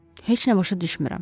Heç nə başa düşmürəm.